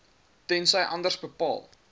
tensy anders bepaal